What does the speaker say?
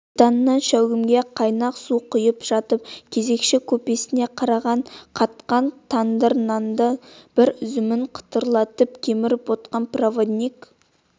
титаннан шәугімге қайнақ су құйып жатып кезекші купесіне қараған қатқан тандыр нанның бір үзімін қытырлатып кеміріп отырған проводник